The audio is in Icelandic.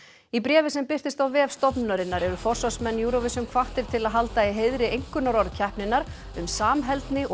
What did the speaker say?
í bréfi sem birtist á vef stofnunarinnar eru forsvarsmenn Eurovision hvattir til að halda í heiðri einkunnarorð keppninnar um samheldni og